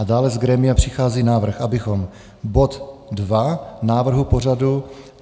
A dále z grémia přichází návrh, abychom bod 2 návrhu pořadu -